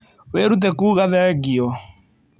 Wĩrute kuuga thengio.